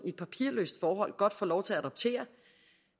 i et papirløst forhold godt få lov til at adoptere